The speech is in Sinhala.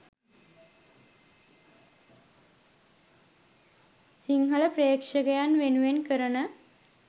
සිංහල ප්‍රේක්ෂකයන් වෙනුවෙන් කරන